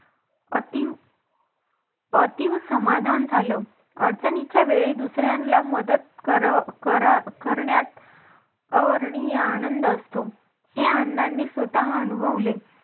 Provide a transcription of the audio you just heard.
अति अति समाधान झालं अडचणीच्या वेळेस दुसऱ्यांना मदत कर कर अह करण्यात अवर्णनीय आनंद असतो. हे अण्णांनी स्वतः अनुभवले.